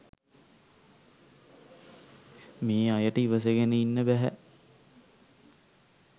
මේ අයට ඉවසගෙන ඉන්න බැහැ.